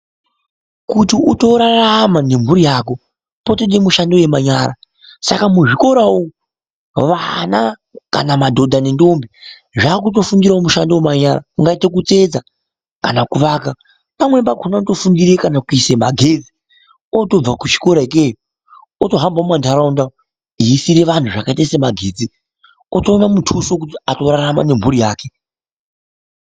Kuti utorarama nemhuri yako, potoda mishando yemanyara, saka muzvikora umu vana kana madhodha nendombi, zvakutofundirawo mushando wemanyara ungaite kutsetsa kana kuvaka. Pamweni pakhona unotofundire kana kuise magetsi, otobve kuchikoro ikeyo, otohambe mumantaraunda eiisire vanhu zvakaite semagetsi, otowana mutuso wekuti atorarama nemhuri yakwe.